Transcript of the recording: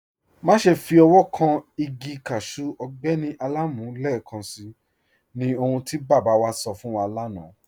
Máṣẹ́ fi ọwọ̀ kàn igi káṣù Ọgbẹ́ni Alamu lẹ́ẹ̀kànṣí, ní ọ̀hun tí baba wa sọ̀ fún wà lána.